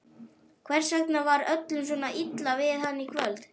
Hvers vegna var öllum svona illa við hann í kvöld?